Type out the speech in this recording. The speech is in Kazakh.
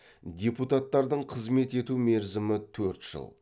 депутаттардың қызмет ету мерзімі төрт жыл